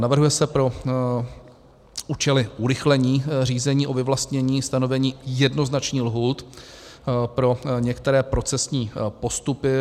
Navrhuje se pro účely urychlení řízení o vyvlastnění stanovení jednoznačných lhůt pro některé procesní postupy.